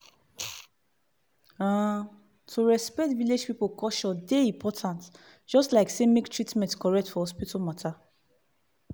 uhm to respect vilage pipu culture dey important just like say make treatment correct for hospital matter.